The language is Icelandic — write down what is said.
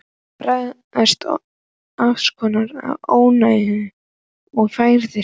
Baðst afsökunar á ónæðinu og færði mig.